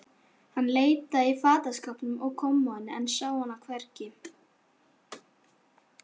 Hann leitaði í fataskápnum og kommóðunni, en sá hana hvergi.